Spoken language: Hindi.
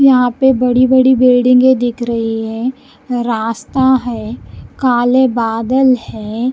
यहां पे बड़ी-बड़ी बिल्डिंगें दिख रही है रास्ता है काले बादल हैं--